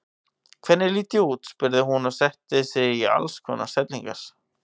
Hvernig lít ég út? spurði hún og setti sig í alls konar stellingar.